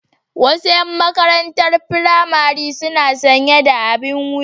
Wasu 'yan matan maƙarantar firamare suna sanƴe da aɓin wuƴa.